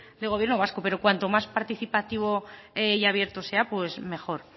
de gobierno vasco pero cuanto más participativo y abierto sea pues mejor